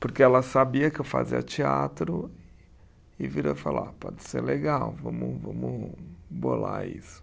Porque ela sabia que eu fazia teatro e virou e falou, ah pode ser legal, vamos vamos bolar isso.